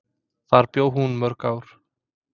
Þar bjó hún mörg ár.